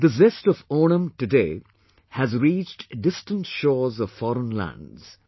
The zest of Onam today has reached distant shores of foreign lands